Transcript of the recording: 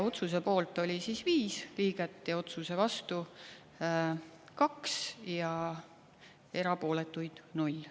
Otsuse poolt oli viis liiget ja otsuse vastu kaks ja erapooletuid null.